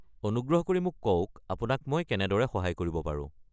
অনুগ্ৰহ কৰি মোক কওক আপোনাক মই কেনেদৰে সহায় কৰিব পাৰোঁ।